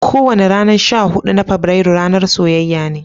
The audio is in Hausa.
Kowani ranan sha hudu na Fabrairu ranan soyayya ne.